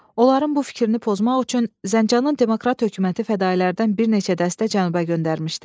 Onların bu fikrini pozmaq üçün Zəncanın demokrat hökuməti fədaillərdən bir neçə dəstə cənuba göndərmişdi.